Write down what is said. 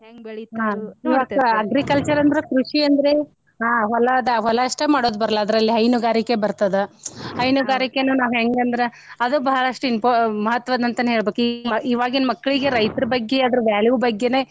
agriculture ಅಂದ್ರೆ ಕೃಷಿ ಅಂದ್ರೆ ಹಾ ಹೊಲಾದ ಹೊಲಾ ಅಷ್ಟ ಮಾಡೋದ ಬರಲ್ಲಾ ಅದ್ರಲ್ಲಿ ಹೈನುಗಾರಿಕೆ ಬರ್ತದ ಹೈನುಗಾರಿಕೆ ನಾವ ಹೆಂಗ ಅಂದ್ರ ಅದು ಬಾಳಷ್ಟ improve ಮಹತ್ವದ ಅಂತಂದ ಹೇಳ್ಬೇಕ ಇವಾಗಿನ ಮಕ್ಳಿಗೆ ರೈತರ ಬಗ್ಗೆ ಅದರ value ಬಗ್ಗೆನೇ.